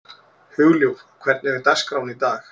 Hugljúf, hvernig er dagskráin í dag?